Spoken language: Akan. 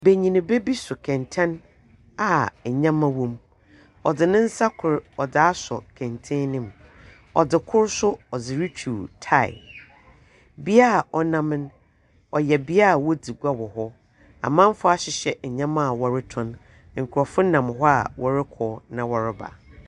Banyimba bi so kɛntsɛn a ndzɛmba wɔ mu, ɔdze ne nsa kor dze esuo kɛntsɛn no mu, ɔdze kor so ɔdze rutwuw taae. Bea cnam no, ɔyɛ bea a wodzi gua wɔ hɔ. Amamfo ahyehyɛ ndzɛmba a wɔrotɔn, nkorɔfo nam hɔ a wɔrokɔ na wɔreba.